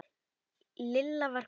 Lilla var komin.